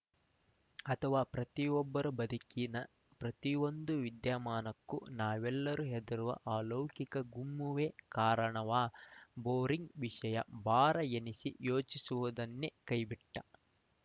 ಅಥವಾ ಪ್ರತಿಯೊಬ್ಬರ ಬದುಕಿನ ಪ್ರತಿಯೊಂದು ವಿದ್ಯಮಾನಕ್ಕೂ ನಾವೆಲ್ಲ ಹೆದರುವ ಆ ಅಲೌಕಿಕ ಗುಮ್ಮವೇ ಕಾರಣವಾ ಬೋರಿಂಗ್‌ ವಿಷಯ ಭಾರ ಎನಿಸಿ ಯೋಚಿಸುವುದನ್ನೆ ಕೈಬಿಟ್ಟ